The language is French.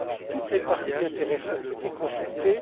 Toutes les parties intéressées ont été consultées.